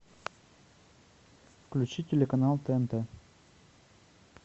включи телеканал тнт